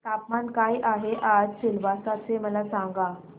तापमान काय आहे आज सिलवासा चे मला सांगा